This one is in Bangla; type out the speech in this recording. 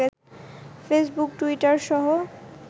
ফেসবুক, টুইটার সহ